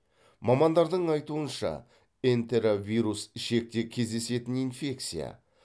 мамандардың айтуынша энтеровирус ішекте кездесетін инфекция